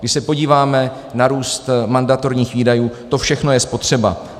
Když se podíváme na růst mandatorních výdajů, to všechno je spotřeba.